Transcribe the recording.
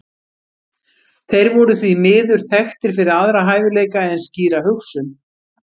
Þeir voru því miður þekktir fyrir aðra hæfileika en skýra hugsun.